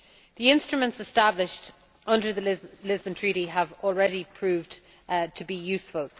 The instruments established under the Lisbon Treaty have already proved to be useful.